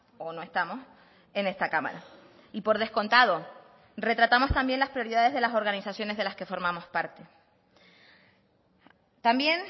o no estamos en esta cámara y por descontado retratamos también las prioridades de las organizaciones de las que formamos parte también